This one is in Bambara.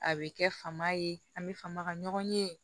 A bɛ kɛ fama ye an bɛ faama ka ɲɔgɔn ye